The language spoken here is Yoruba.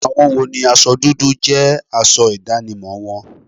Àwọn wo ni aṣọ dúdú jẹ́ aṣọ ìdánimọ̀ wọn?